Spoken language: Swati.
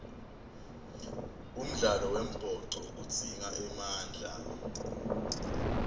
umdlalo wembhoco udzinga emandla